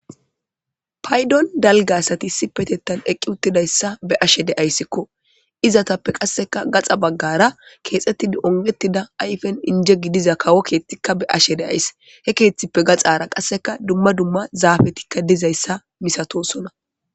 Paydon dalgasati si petettan eqqi uttidayssa be ashe deayssikko izatappe qasseka gaxa baggara keexettidi ongetida ayfen inje gidiza kawo keethtikka be ashe deays he keeththippe gaxara qasseka dumma dumma zaafetikka dizayssa misatosona.